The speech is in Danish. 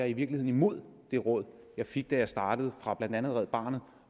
i virkeligheden imod det råd jeg fik da jeg startede fra blandt andet red barnet